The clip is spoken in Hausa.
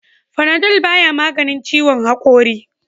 Panadol ba ya maganin ciwon hakori.